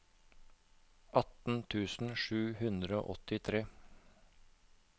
atten tusen sju hundre og åttitre